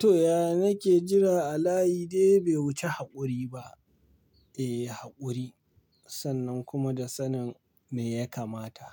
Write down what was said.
To yaya nake jira a layi dai bai wuce haƙuri ba, eh haƙuri. Sannan kuma da sanin me ya kamata.